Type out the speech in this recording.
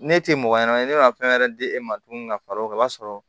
Ne tɛ mɔgɔ ɲanama ye ne ka fɛn wɛrɛ di e ma tuguni ka fara o kan i b'a sɔrɔ